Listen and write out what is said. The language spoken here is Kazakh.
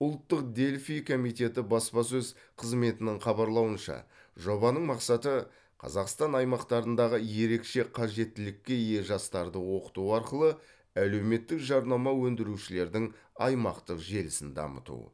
ұлттық дельфий комитеті баспасөз қызметінің хабарлауынша жобаның мақсаты қазақстан аймақтарындағы ерекше қажеттілікке ие жастарды оқыту арқылы әлеуметтік жарнама өндірушілердің аймақтық желісін дамыту